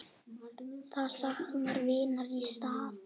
Þau sakna vinar í stað.